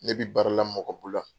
Ne bi baara la mɔgɔ bolo wa.